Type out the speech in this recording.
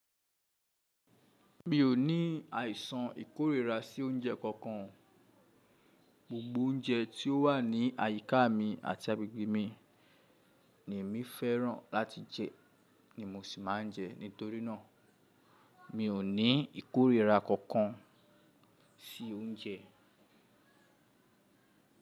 Mi ò ní àìsàn ìkórìíra sí oúnjẹ kankan. Gbogbo oúnjẹ tí ó wà ní àyíká mi àti agbègbè mi ni èmi fẹ́ràn láti jẹ ni mo sì máa ń jẹ. Nítorí náà, mi ò ní ìkórìíra kankan sí oúnjẹ.